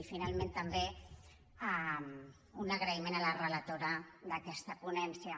i finalment també un agraïment a la relatora d’aquesta ponència